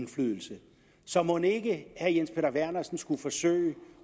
indflydelse så mon ikke herre jens peter vernersen skulle forsøge